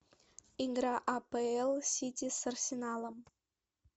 игра апл сити с арсеналом